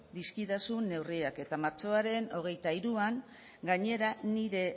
dizkidazun neurriak eta martxoaren hogeita hiruan gainera nire